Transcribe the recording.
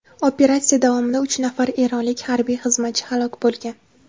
Operatsiya davomida uch nafar eronlik harbiy xizmatchi halok bo‘lgan.